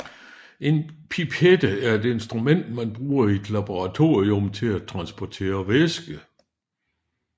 En pipette er et instrument man bruger i et laboratorium til at transportere væske